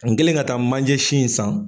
Kan n kɛlen ka taa manjɛ sin san.